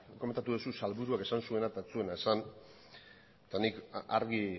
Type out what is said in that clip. komentatu duzu sailburuak esan zuena eta ez zuena esan eta nik argi